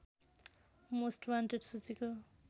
most wanted सूचीको